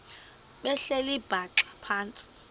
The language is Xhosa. behleli bhaxa phantsi